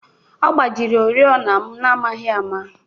Ọ gbajiri oriọna m n'amaghị ama